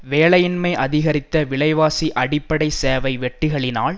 வேலையின்மை அதிகரித்த விலைவாசி அடிப்படை சேவை வெட்டுக்களினால்